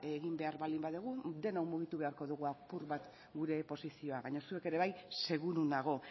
egin behar baldin badugu denok mugitu beharko dugu apur bat gure posizioa baina zuek ere bai seguru nago